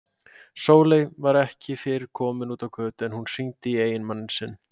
Sóley var ekki fyrr komin út á götu en hún hringdi í eiginmann sinn.